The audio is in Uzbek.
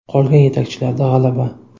Qolgan yetakchilarda g‘alaba.